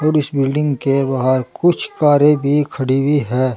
और इस बिल्डिंग के बाहर कुछ कारें भी खड़ी हुई हैं।